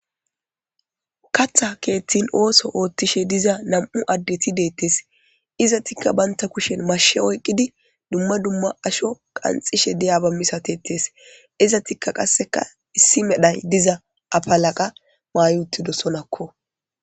Katha keethtin ooso oothtishe diza nam7u addeti deettes izatikka baynta kushen mashe oyqqidi dumma dumma asho qanxishe diyabammisatetees izatikka qasseka issi medhay diza afalaqa maayutido sonakko.